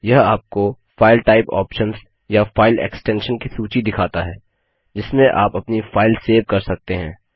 यह आपको file type options या फाइल एक्स्टेंशन की सूची दिखाता है जिसमें आप अपनी फाइल सेव कर सकते हैं